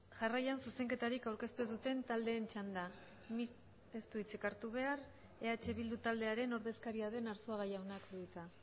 jarraian zuzenketarik aurkeztu ez duten taldeen txanda mixt ez du hitzik hartu behar eh bildu taldearen ordezkaria den arzuaga jaunak du hitza